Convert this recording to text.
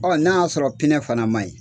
n'a y'a sɔrɔ fana man ɲi.